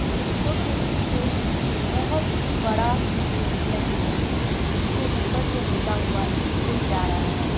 वृक्षों के पीछे बहोत बड़ा एक नदी है जिसके ऊपर से होता हुआ एक पुल जा रहा है।